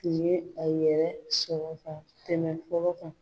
U ye a yɛrɛ sɔrɔ ka tɛmɛ kan